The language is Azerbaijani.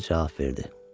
vəzir cavab verdi.